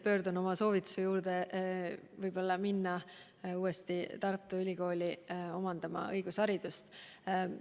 Pöördun taas oma soovituse juurde minna uuesti Tartu Ülikooli õigusharidust omandama.